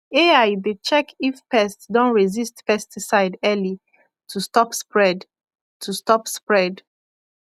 ai dey check if pest don resist pesticide early to stop spread to stop spread